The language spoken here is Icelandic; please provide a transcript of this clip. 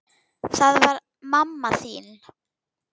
Það var mamma þín.